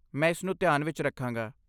ਮੈਂ ਇਸਨੂੰ ਧਿਆਨ ਵਿੱਚ ਰੱਖਾਂਗਾ।